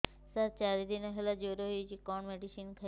ସାର ଚାରି ଦିନ ହେଲା ଜ୍ଵର ହେଇଚି କଣ ମେଡିସିନ ଖାଇବି